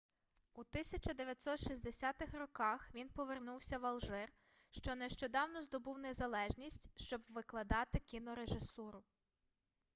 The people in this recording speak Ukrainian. у 1960 роках він повернувся в алжир що нещодавно здобув незалежність щоб викладати кінорежисуру